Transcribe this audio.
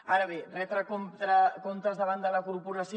ara bé retre comptes davant de la corporació